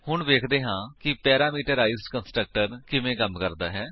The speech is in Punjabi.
ਹੁਣ ਵੇਖਦੇ ਹਾਂ ਕਿ ਪੈਰਾਮੀਟਰਾਈਜ਼ਡ ਕੰਸਟਰਕਟਰ ਕਿਵੇਂ ਕੰਮ ਕਰਦਾ ਹੈ